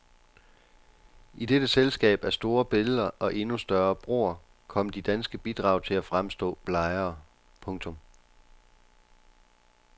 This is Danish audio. I dette selskab af store billeder og endnu større broer kom de danske bidrag til at fremstå blegere. punktum